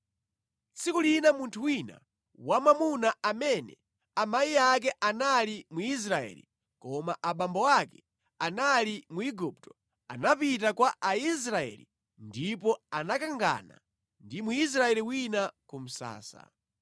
Tsiku lina munthu wina wamwamuna amene amayi ake anali Mwisraeli koma abambo ake anali Mwigupto anapita kwa Aisraeli ndipo anakangana ndi Mwisraeli wina ku msasa.